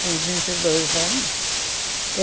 com vinte e dois anos.